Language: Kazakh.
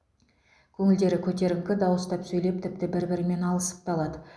көңілдері көтеріңкі дауыстап сөйлеп тіпті бір бірімен алысып та алады